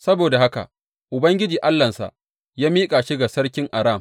Saboda haka Ubangiji Allahnsa ya miƙa shi ga sarkin Aram.